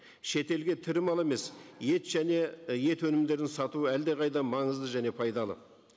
шетелге тірі мал емес ет және і ет өнімдерін сату әлдеқайда маңызды және пайдалы